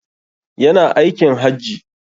Ya na aikin Hajji.